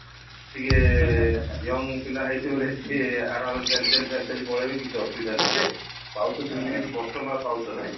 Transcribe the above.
ଟିକେ young ପିଲା ହେଇଥିବ ବୋଲେ ସେ ଅରମରେ ଚାଲି ଚାଲି ଚାଲି ଚାଲି ପଳେଇବେ କିଛି ଅସୁବିଧା ନାଇଁ ଯେ ପାହୁଚ ସେମିତି କିଛି କଷ୍ଟ ନବା ପାହୁଚ ନାହିଁ